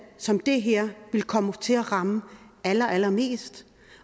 som det her vil komme til at ramme allerallermest